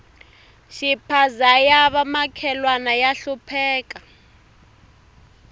xiphaza ya va makhelwana ya hlupheka